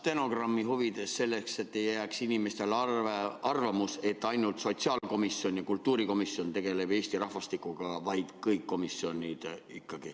Stenogrammi huvides: selleks, et ei jääks inimestel arvamus, et ainult sotsiaalkomisjon ja kultuurikomisjon tegelevad Eesti rahvastikuga, vaid ikkagi kõik komisjonid.